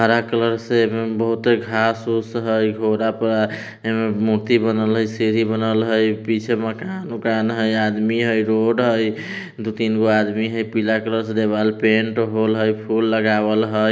हरा कलर से बहुत आएगा घास वास है जोरा पर मूर्ति बनल है सीडी बनल है पीछे मकान मकान है आदमी है रोड है दो-तीनगो आदमी है पीला कलर से दीवाल पेंट हॉल है फूल लगावल है।